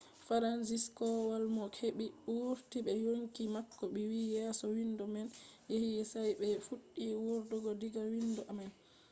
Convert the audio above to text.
fransizek kowal mo heɓi wurti be yonki mako wi yeso windo man yewi sai ɓe fuɗɗi wurtugo diga windo man.